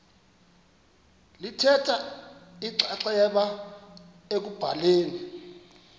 lithatha inxaxheba ekubhaleni